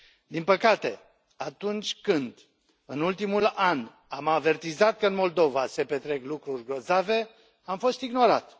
Din păcate, atunci când, în ultimul an, am avertizat că în Moldova se petrec lucruri grozave, am fost ignorat.